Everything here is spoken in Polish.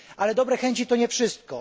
Ale dobre chęci to nie wszystko.